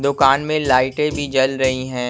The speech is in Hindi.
दुकान में लाइटे भी जल रही है।